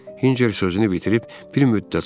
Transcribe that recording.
Hinçer sözünü bitirib bir müddət susdu.